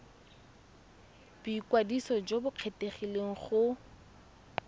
boikwadiso jo bo kgethegileng go